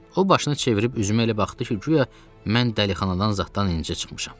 O başını çevirib üzümə elə baxdı ki, guya mən dəlixanadan zaddan indicə çıxmışam.